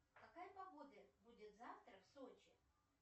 какая погода будет завтра в сочи